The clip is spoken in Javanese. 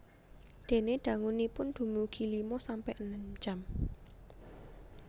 Dene dangunipun dumugi lima sampe enem jam